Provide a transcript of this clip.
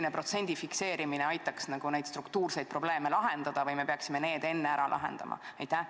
Kas protsendi fikseerimine aitaks neid struktuurseid probleeme lahendada või me peaksime need enne ära lahendama?